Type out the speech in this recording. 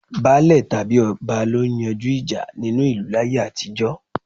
Baálè tàbí ọba lọ máa ń yanjú ìjà nínú ìlú láyé àtijó.